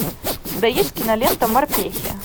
у тебя есть кинолента морпехи